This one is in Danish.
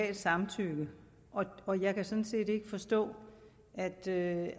et samtykke og jeg kan sådan set ikke forstå at det